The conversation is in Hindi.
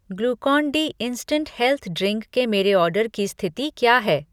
Glucon D instant health drink के मेरे ऑर्डर की स्थिति क्या है?